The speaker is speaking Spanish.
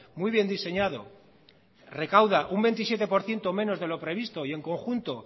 muy bien diseñado recauda un veintisiete por ciento menos de lo previsto y en conjunto